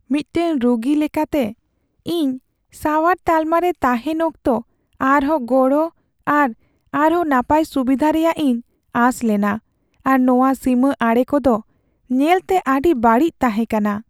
ᱢᱤᱫᱴᱟᱝ ᱨᱩᱜᱤ ᱞᱮᱠᱟᱛᱮ, ᱤᱧ ᱥᱟᱣᱟᱨ ᱛᱟᱞᱢᱟ ᱨᱮ ᱛᱟᱦᱮᱱ ᱚᱠᱛᱚ ᱟᱨᱦᱚᱸ ᱜᱚᱲᱚ ᱟᱨ ᱟᱨᱦᱚᱸ ᱱᱟᱯᱟᱭ ᱥᱩᱵᱤᱫᱷᱟ ᱨᱮᱭᱟᱜ ᱤᱧ ᱟᱸᱥ ᱞᱮᱱᱟ, ᱟᱨ ᱱᱚᱶᱟ ᱥᱤᱢᱟᱹ ᱟᱲᱮ ᱠᱚᱫᱚ ᱧᱮᱞᱛᱮ ᱟᱹᱰᱤ ᱵᱟᱹᱲᱤᱡ ᱛᱟᱦᱮᱸ ᱠᱟᱱᱟ ᱾